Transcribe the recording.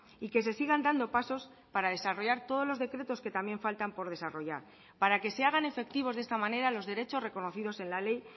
y que se sigan dando pasos para desarrollar todos los decretos que también faltan por desarrollar para que se hagan efectivos de esta manera los derechos reconocidos en la ley